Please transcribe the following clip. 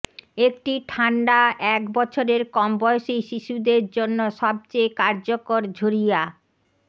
একটি ঠান্ডা এক বছরের কম বয়সী শিশুদের জন্য সবচেয়ে কার্যকর ঝরিয়া